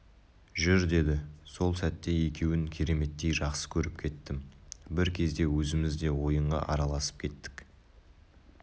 жүр деді сол сәтте екеуін кереметтей жақсы көріп кеттім бір кезде өзіміз де ойынға араласып кеттік